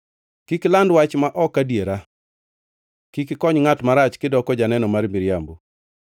“Kik iland wach ma ok adiera. Kik ikony ngʼat marach kidoko janeno mar miriambo.